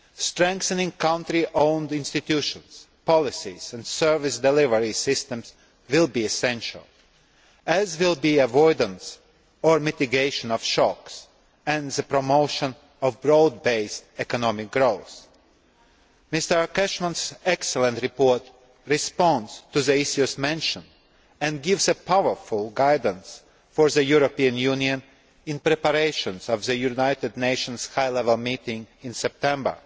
Strengthening country owned institutions, policies and service delivery systems will be essential, as will avoidance or mitigation of shocks and the promotion of broad based economic growth. Mr Cashman's excellent report responds to the issues mentioned and gives powerful guidance for the European Union in preparation for the United Nations high level meeting in September